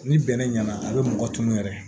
Ni bɛnɛ ɲɛna a be mɔgɔ tunun yɛrɛ